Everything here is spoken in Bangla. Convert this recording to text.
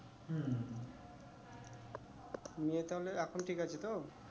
নিয়ে তাহলে এখন ঠিক আছে তো?